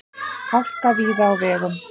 Hálka víða á vegum